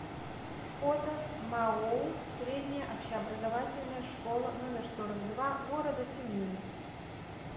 фото маоу средняя общеобразовательная школа номер сорок два города тюмени